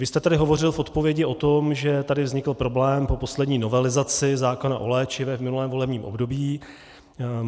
Vy jste tady hovořil v odpovědi o tom, že tady vznikl problém po poslední novelizaci zákona o léčivech v minulém volebním období.